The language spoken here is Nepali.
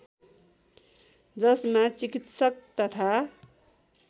जसमा चिकित्सक तथा